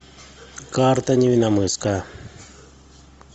карта невинномысска